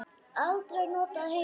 Aldrei notað heima.